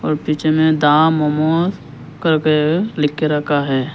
और पीछे में दा मोमोज लिख के रखा है।